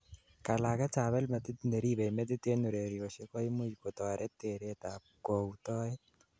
kalaget ab elmetit neribei metit en urerosiek koimuch kotoret teret ab kautoet